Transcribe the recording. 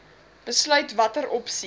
besluit watter opsie